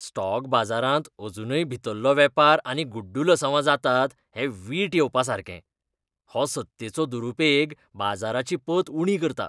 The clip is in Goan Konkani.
स्टॉक बाजारांत अजुनूय भितरलो वेपार आनी गुड्डलसांवां जातात हें वीट येवपासारकें. हो सत्तेचो दुरुपेग बाजाराची पत उणी करता